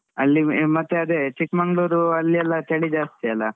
ಅಲ್ಲಿ ಮತ್ತೆ ಅದೆ ಚಿಕ್ಕ್ಮಂಗ್ಳೂರು ಅಲ್ಲಿ ಎಲ್ಲ ಚಳಿ ಜಾಸ್ತಿ ಅಲಾ.